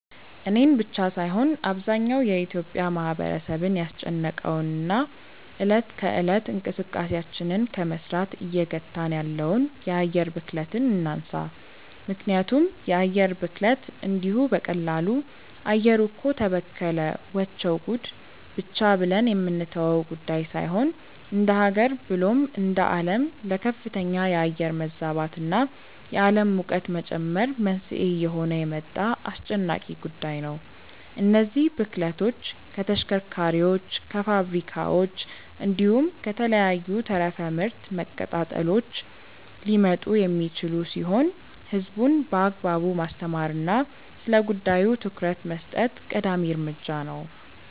እኔን ብቻ ሳይሆን አብዛኛው የኢትዮጲያ ማህበረሰብን ያስጨነቀውን እና እለት ከእለት እንቅስቃሴያችንን ከመስራት እየገታን ያለውን የአየር ብክለትን እናንሳ። ምክንያቱም የአየር ብክለት እንዲሁ በቀላሉ “አየሩ እኮ ተበከለ… ወቸው ጉድ” ብቻ ብለን የምንተወው ጉዳይ ሳይሆን እንደሃገር ብሎም እንደአለም ለከፍተኛ የአየር መዛባት እና የአለም ሙቀት መጨመር መንስኤ እየሆነ የመጣ አስጨናቂ ጉዳይ ነው። እነዚህ ብክለቶች ከተሽከርካሪዎች፣ ከፋብሪካዎች፣ እንዲሁም ከተለያዩ ተረፈ ምርት መቀጣጠሎች ሊመጡ የሚችሉ ሲሆን ህዝቡን በአግባቡ ማስተማር እና ስለጉዳዩ ትኩረት መስጠት ቀዳሚ እርምጃ ነው።